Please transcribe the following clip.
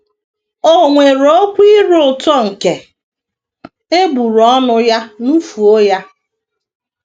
“ O weere okwu ire ụtọ nke egbugbere ọnụ ya nufuo ya. ”